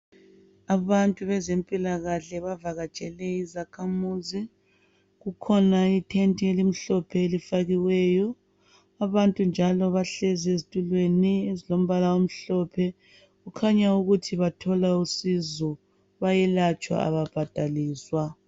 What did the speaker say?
Abantu bezempilakahle bavakatshele izakhamuzi kukhona ithenti elimhlophe elifakiweyo, abantu njalo bahlezi ezitulweni ezilombala omhlophe kukhanya ukuthi bathola usizo bayelatshwa ababhadaliswa.